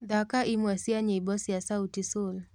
thaka ĩmwe cĩa nyĩmbo cĩa sauti sol